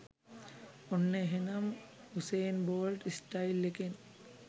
ඔන්න එහෙනම් Usain Bolt style එකෙන්